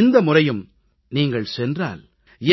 இந்த முறையும் நீங்கள் சென்றால்